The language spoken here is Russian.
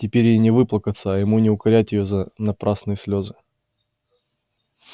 теперь ей не выплакаться а ему не укорять её за напрасные слезы